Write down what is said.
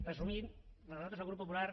resumint nosaltres el grup popular